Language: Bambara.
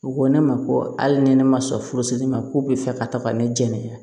U ko ne ma ko hali ni ne ma sɔn furusiri ma k'u bɛ fɛ ka taga ne jɛnni